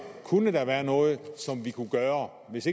kunne der være noget som vi kunne gøre hvis